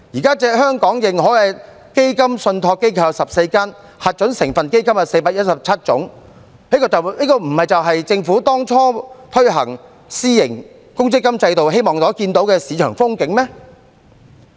現時香港認可的基金信託機構有14間，核准成分基金有417種，這不是政府當初推行私營公積金制度所希望看到的市場光景嗎？